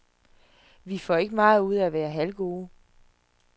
Vi får ikke meget ud af at være halvgode.